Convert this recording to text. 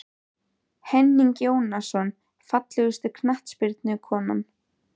Henning Jónasson Fallegasta knattspyrnukonan?